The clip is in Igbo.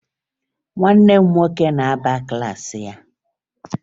Nwanne m nwoke na-aba na klaasị ya